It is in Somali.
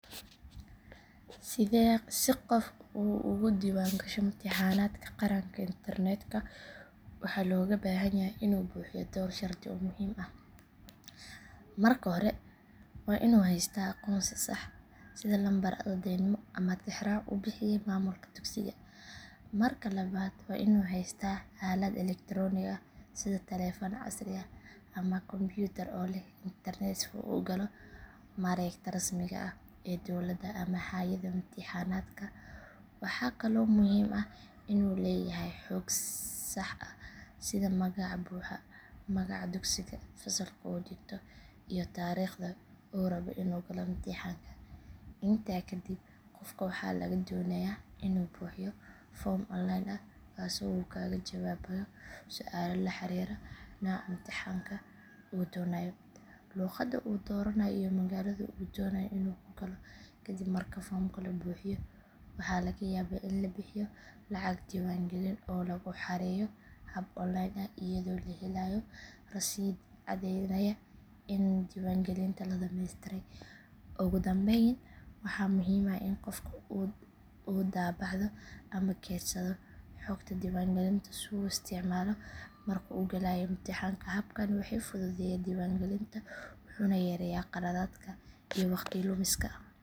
Si qof uu ugu diiwaangasho imtixaanaadka qaran internetka waxaa looga baahan yahay inuu buuxiyo dhowr shardi oo muhiim ah. Marka hore waa inuu haystaa aqoonsi sax ah sida lambar ardaynimo ama tixraac uu bixiyay maamulka dugsiga. Marka labaad waa inuu haystaa aalad elektaroonig ah sida taleefan casri ah ama kombuyuutar oo leh internet si uu u galo mareegta rasmiga ah ee dowladda ama hay’adda imtixaanaadka. Waxaa kaloo muhiim ah inuu leeyahay xog sax ah sida magaca buuxa, magaca dugsiga, fasalka uu dhigto iyo taariikhda uu rabay inuu galo imtixaanka. Intaa kadib qofka waxaa laga doonayaa inuu buuxiyo foom online ah kaasoo uu kaga jawaabayo su’aalo la xiriira nooca imtixaanka uu doonayo, luqadda uu dooranayo iyo magaalada uu doonayo inuu ku galo. Kadib marka foomka la buuxiyo waxaa laga yaabaa in la bixiyo lacag diiwaangelin oo lagu xareeyo hab online ah iyadoo la helayo rasiidh caddaynaya in diiwaangelinta la dhammaystiray. Ugu dambayn waxaa muhiim ah in qofka uu daabacdo ama keydsado xogta diiwaangelinta si uu u isticmaalo marka uu galayo imtixaanka. Habkani wuxuu fududeeyaa diiwaangelinta wuxuuna yareeyaa khaladaadka iyo waqti lumiska.